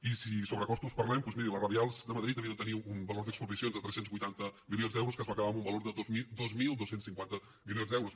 i si de sobrecostos parlem doncs miri les radials de madrid havien de tenir un valor d’expropiacions de tres cents i vuitanta milions d’euros que es va acabar amb un valor de dos mil dos cents i cinquanta milions d’euros